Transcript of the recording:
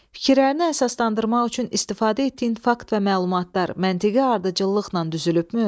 Fikirlərini əsaslandırmaq üçün istifadə etdiyin fakt və məlumatlar məntiqi ardıcıllıqla düzülübmü?